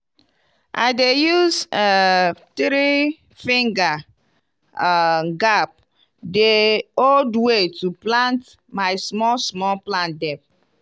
i dey use um three-finger um gap the old way to plant my small-small plant dem.